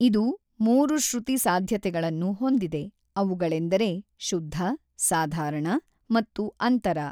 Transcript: ಇದು ಮೂರು ಶ್ರುತಿ ಸಾಧ್ಯತೆಗಳನ್ನು ಹೊಂದಿದೆ, ಅವುಗಳೆಂದರೆ ಶುದ್ಧ, ಸಾಧಾರಣ ಮತ್ತು ಅಂತರ.